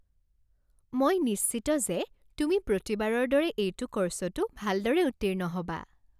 মই নিশ্চিত যে তুমি প্ৰতিবাৰৰ দৰে এইটো ক'ৰ্ছতো ভালদৰে উত্তীৰ্ণ হ'বা।